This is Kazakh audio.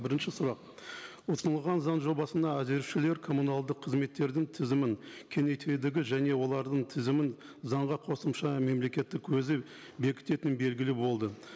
бірінші сұрақ ұсынылған заң жобасына әзірлеушілер коммуналдық қызметтердің тізімін кеңейтудегі және олардың тізімін заңға қосымша мемлекеттік өзі бекітетіні белгілі болды